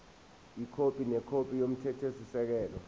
ikhophi nekhophi yomthethosisekelo